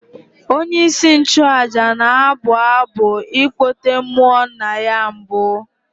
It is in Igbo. Onyeisi nchụaja na-abụ abụ ịkpọte mmụọ nna ya mbụ.